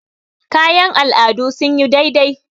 kayan al'adun sun yi dai dai